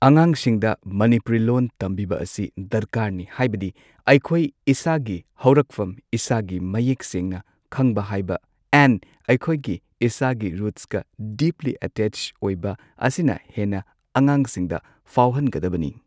ꯑꯉꯥꯡꯁꯤꯡꯗ ꯃꯅꯤꯄꯨꯔꯤ ꯂꯣꯟ ꯇꯝꯕꯤꯕ ꯑꯁꯤ ꯗꯔꯀꯥꯔꯅꯤ ꯍꯥꯏꯕꯗꯤ ꯑꯩꯈꯣꯏ ꯏꯁꯥꯒꯤ ꯍꯧꯔꯛꯐꯝ ꯏꯁꯥꯒꯤ ꯃꯌꯦꯛ ꯁꯦꯡꯅ ꯈꯪꯕ ꯍꯩꯕ ꯑꯦꯟ ꯑꯩꯈꯣꯏꯒꯤ ꯏꯁꯥꯒꯤ ꯔꯨꯠꯁꯀ ꯗꯤꯞꯂꯤ ꯑꯇꯦꯆ ꯑꯣꯏꯕ ꯑꯁꯤꯅ ꯍꯦꯟꯅ ꯑꯉꯥꯡ ꯑꯉꯥꯡꯁꯤꯡꯗ ꯐꯥꯎꯍꯟꯒꯗꯕꯅꯤ꯫